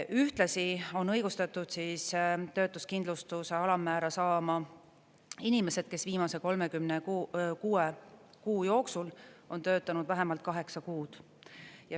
Ühtlasi on õigustatud töötuskindlustuse alammäära saama inimesed, kes viimase 36 kuu jooksul on töötanud vähemalt kaheksa kuud.